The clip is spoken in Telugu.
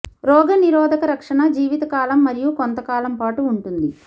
రోగనిరోధక రక్షణ జీవితకాలం మరియు కొంత కాలం పాటు ఉంటుంది